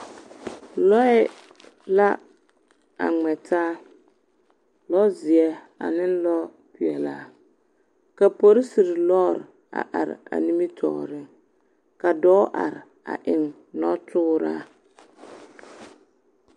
lɔɛ la a ŋmɛ taa, lɔzeɛ ane lɔɔ peɛlaa ka polisiri lɔɔre a are a nimitɔɔreŋ ka dɔɔ are a eŋ nɔtooraa.